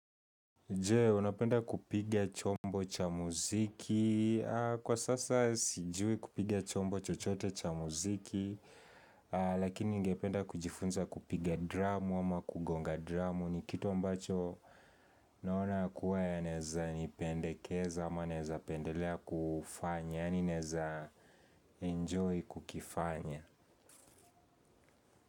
Jee, unapenda kupiga chombo cha muziki Kwa sasa sijui kupiga chombo chochote cha muziki Lakini ningependa kujifunza kupiga dramu ama kugonga dramu ni kitu ambacho naona kuwa yanaeza nipendekeza ama naeza pendelea kufanya Yani naeza enjoy kukifanya.